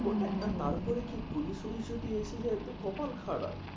হ্যাঁ হ্যাঁ তারপরে কি পুলিশ ফুলিশ যদি এসে যায় তো কপাল খারাপ।